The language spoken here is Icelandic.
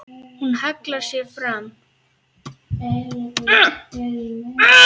Hún hallar sér fram.